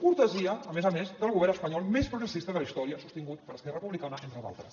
cortesia a més a més del govern espanyol més progressista de la història sostingut per esquerra republicana entre d’altres